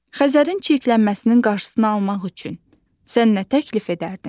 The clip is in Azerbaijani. Xəzərin çirklənməsinin qarşısını almaq üçün sən nə təklif edərdin?